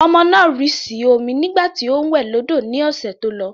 Ọmọ náà rì sí omi nígbà tí ó ń wẹ̀ lọ́dọ̀ ní ọ̀sẹ̀ tó lọ.